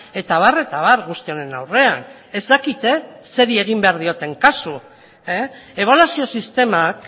eta abar eta abar guzti honen aurrean ez dakite zeri egin behar dioten kasu ebaluazio sistemak